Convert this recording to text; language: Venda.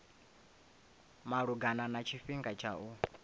malugana na tshifhinga tsha u